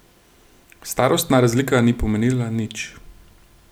Starostna razlika ni pomenila nič.